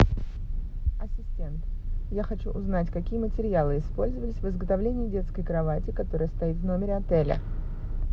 ассистент я хочу узнать какие материалы использовались в изготовлении детской кровати которая стоит в номере отеля